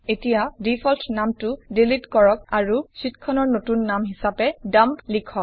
এতিয়া ডিফল্ট নামটো ডিলিট কৰক আৰু শ্বিটখনৰ নতুন নাম হিচাপে ডাম্প লিখক